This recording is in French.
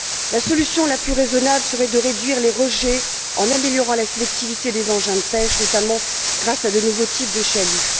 La solution la plus raisonnable serait de réduire les rejets, en améliorant la sélectivité des engins de pêche, notamment grâce à de nouveaux types de chaluts.